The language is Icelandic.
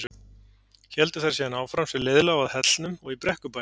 Héldu þær síðan áfram sem leið lá að Hellnum og í Brekkubæ.